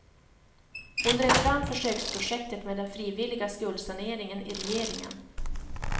Hon drev fram försöksprojektet med den frivilliga skuldsaneringen i regeringen.